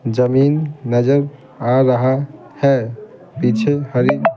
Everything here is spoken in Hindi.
जमीन नजर आ रहा है पीछे हरी--